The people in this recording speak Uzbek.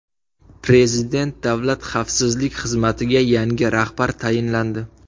Prezident Davlat xavfsizlik xizmatiga yangi rahbar tayinlandi.